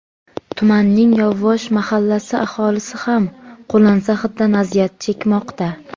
Tumanning Yovvosh mahallasi aholisi ham qo‘lansa hiddan aziyat chekmoqda.